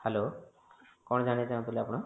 Hello କଣ ଜାଣିବାକୁ ଚାହୁଁଥିଲେ ଆପଣ?